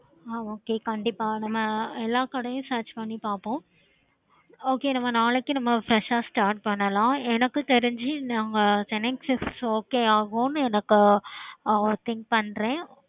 okay கண்டிப்பா நம்ம எல்லாம் கடையும் search பண்ணி பாப்போம்